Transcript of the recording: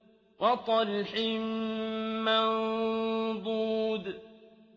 وَطَلْحٍ مَّنضُودٍ